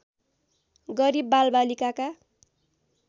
गरिब बालबालिकाका